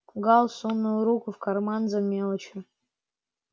гаал сунул руку в карман за мелочью